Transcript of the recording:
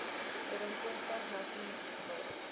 ooreenkomstig nasion ale